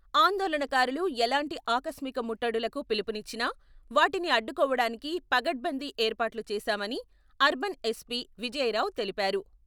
ఆందోళనకారులు ఎలాంటి ఆకస్మిక ముట్టడులకు పిలుపునిచ్చినా వాటిని అడ్డుకోవడానికి పగడ్బందీ ఏర్పాట్లు చేసామాని అర్బన్ ఎస్పి.విజయరావు తెలిపారు.